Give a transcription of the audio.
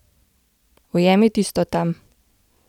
Ujemi tisto tam!